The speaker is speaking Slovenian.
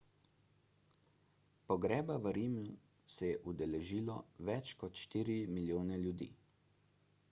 pogreba v rimu se je udeležilo več kot štiri milijone ljudi